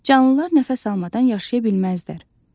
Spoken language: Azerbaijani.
Canlılar nəfəs almadan yaşaya bilməzlər.